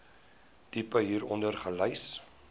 tipe hieronder gelys